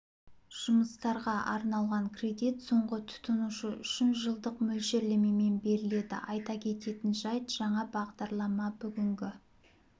жұмыстарға арналған кредит соңғы тұтынушы үшін жылдық мөлшерлемемен беріледі айта кететін жайт жаңа бағдарлама бүгінге